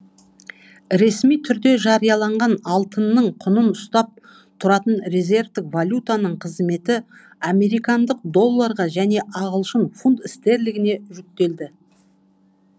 ресми түрде жарияланған алтынның құнын ұстап тұратын резервтік валютаның қызметі американдық долларға және ағылшын фунт стерлингіне жүктелді